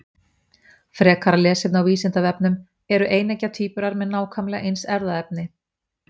Frekara lesefni á Vísindavefnum: Eru eineggja tvíburar með nákvæmlega eins erfðaefni?